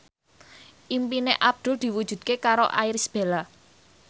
impine Abdul diwujudke karo Irish Bella